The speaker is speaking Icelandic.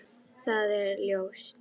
Það er ljóst.